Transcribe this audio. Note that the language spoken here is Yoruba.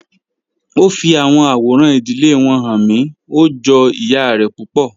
O fi awọn aworan idile wọn han mi, o jọ iya rẹ pupọ.